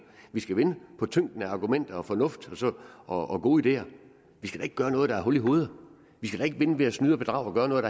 vi skal vinde på tyngden af argumenter og fornuft og gode ideer vi skal da ikke gøre noget der er hul i hovedet vi skal da ikke vinde ved at snyde og bedrage og gøre noget